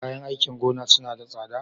Kayan aikin gona suna da tsada?